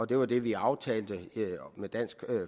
det var det vi aftalte med dansk